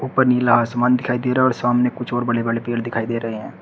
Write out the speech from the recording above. ऊपर नीला आसमान दिखाई दे रहा है और सामने कुछ और बले बड़े पेड़ दिखाई दे रहे हैं।